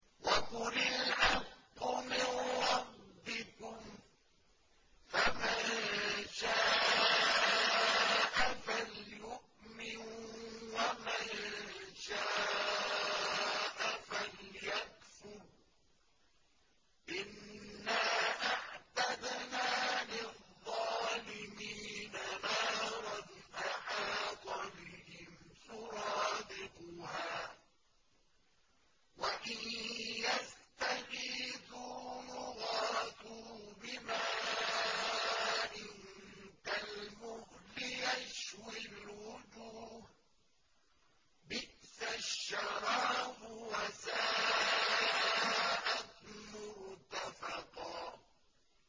وَقُلِ الْحَقُّ مِن رَّبِّكُمْ ۖ فَمَن شَاءَ فَلْيُؤْمِن وَمَن شَاءَ فَلْيَكْفُرْ ۚ إِنَّا أَعْتَدْنَا لِلظَّالِمِينَ نَارًا أَحَاطَ بِهِمْ سُرَادِقُهَا ۚ وَإِن يَسْتَغِيثُوا يُغَاثُوا بِمَاءٍ كَالْمُهْلِ يَشْوِي الْوُجُوهَ ۚ بِئْسَ الشَّرَابُ وَسَاءَتْ مُرْتَفَقًا